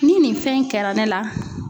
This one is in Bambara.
Ni nin fɛn in kɛra ne la